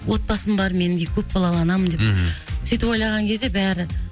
отбасым бар менің де көп балалы анамын деп мхм сөйтіп ойлаған кезде бәрі